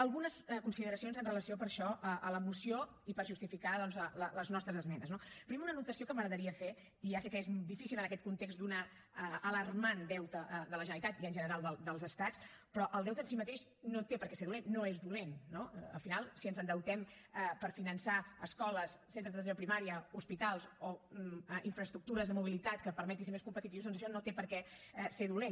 algunes consideracions amb relació per això a la moció i per justificar doncs les nostres esmenes no primer una anotació que m’agradaria fer i ja sé que és difícil en aquest context d’un alarmant deute de la generalitat i en general dels estats però el deute en si mateix no té per què ser dolent no és dolent no al final si ens endeutem per finançar escoles centres d’atenció primària hospitals o infraestructures de mobilitat que permetin ser més competitius doncs això no té per què ser dolent